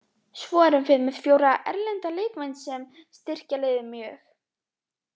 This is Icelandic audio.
Svo erum við með fjóra erlenda leikmenn sem styrkja liðið mjög.